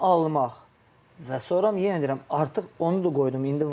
Onu almaq və sonra yenə deyirəm, artıq onu da qoydum.